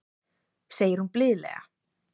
segir hún blíðlega.